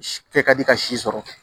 Kɛ ka di ka si sɔrɔ